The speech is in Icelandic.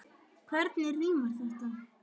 Hvernig rímar þetta?